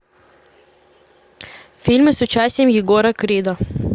фильмы с участием егора крида